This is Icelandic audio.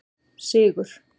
Sigur